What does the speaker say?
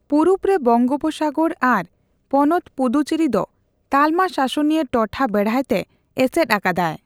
ᱯᱩᱨᱩᱵᱽ ᱨᱮ ᱵᱚᱝᱜᱳᱯᱥᱟᱜᱚᱨ ᱟᱨ ᱯᱚᱱᱚᱛ ᱯᱩᱫᱩᱪᱮᱨᱤ ᱫᱚ ᱛᱟᱞᱢᱟ ᱥᱟᱥᱚᱱᱤᱭᱟᱹ ᱴᱚᱴᱷᱟ ᱵᱮᱲᱦᱟᱭᱛᱮ ᱮᱥᱮᱫ ᱟᱠᱟᱫᱟᱭ ᱾